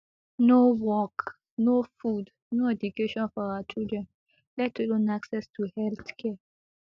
no work no food no education for our children let alone access to healthcare